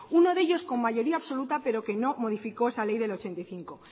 uno de ellos con mayoría absoluta pero que no modificó esa ley del mil novecientos ochenta y cinco